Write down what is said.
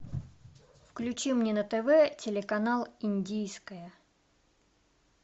включи мне на тв телеканал индийское